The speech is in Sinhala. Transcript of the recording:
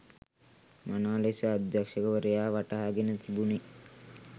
මනා ලෙස අධ්‍යක්ෂවරයා වටහාගෙන තිබුණි